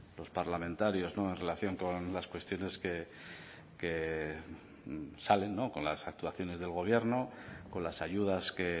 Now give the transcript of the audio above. los parlamentarios en relación con las cuestiones que salen con las actuaciones del gobierno con las ayudas que